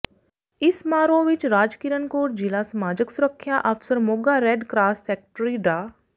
ਇਸ ਸਮਾਰੋਹ ਵਿੱਚ ਰਾਜਕਿਰਨ ਕੌਰ ਜਿਲ੍ਹਾ ਸਮਾਜਿਕ ਸੁਰੱਖਿਆ ਅਫਸਰ ਮੋਗਾ ਰੈੱਡ ਕਰਾਸ ਸੈਕਟਰੀ ਡਾ